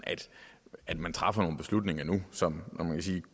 at man træffer nogle beslutninger nu som man kan sige